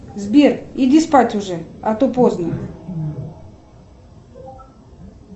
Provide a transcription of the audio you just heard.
сбер иди спать уже а то поздно